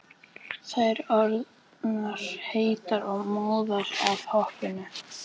Þær orðnar heitar og móðar af hoppinu.